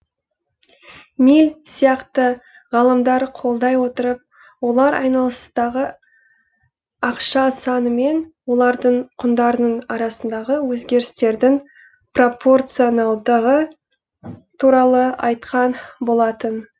милль сияқты ғалымдар қолдай отырып олар айналыстағы ақша саны мен олардың құндарының арасындағы өзгерістердің пропорционалдығы туралы айтқан болатын